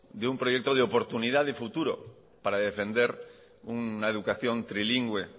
de un proyecto de oportunidad y futuro para defender una educación trilingüe